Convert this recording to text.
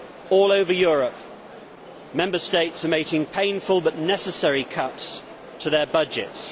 All over Europe Member States are making painful but necessary cuts to their budgets